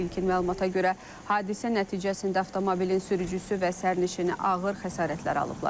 İlkin məlumata görə, hadisə nəticəsində avtomobilin sürücüsü və sərnişini ağır xəsarətlər alıblar.